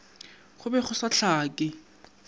go be go sa hlake